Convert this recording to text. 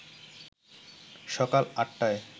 সকাল আটটায়